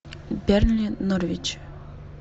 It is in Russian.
бернли норвич